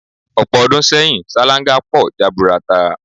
Ò̩pò̩ o̩dún sé̩yìn, sáláńgá po̩ jaburata.